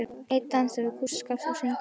Einn dansar við kústskaft og syngur um